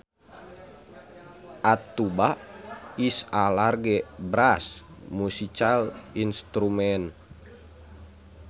A tuba is a large brass musical instrument